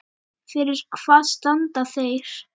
Fyrir hvað standa þeir?